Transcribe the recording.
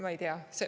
Ma ei tea.